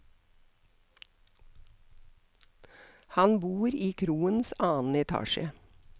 Han bor i kroens annen etasje.